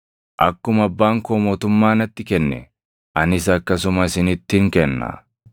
Akkuma Abbaan koo mootummaa natti kenne, anis akkasuma isinittin kenna;